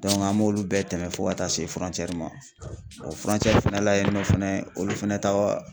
an m'olu bɛɛ tɛmɛ fo ka taa se ma o fɛnɛ la yen nɔ fɛnɛ olu fɛnɛ